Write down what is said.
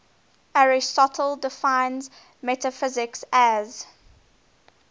aristotle defines metaphysics as